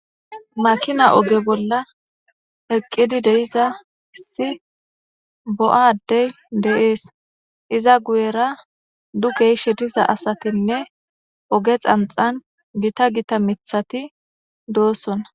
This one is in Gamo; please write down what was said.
makina oge bolla eqqidi de'iza issi bo7a adey de'ees iza guyera dukey shetiza asatinne oge xanxan gita gita mithati doosona